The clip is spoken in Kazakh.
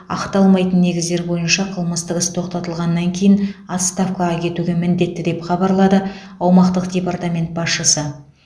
ақталмайтын негіздер бойынша қылмыстық іс тоқтатылғаннан кейін отставкаға кетуге міндетті деп хабарлады аумақтық департамент басшысы